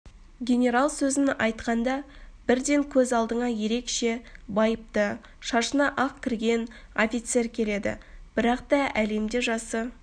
генерал сөзін айтқанда бірден көз алдыңа ерекше байыпты шашына ақ кірген офицер келеді бірақта әлемде жасы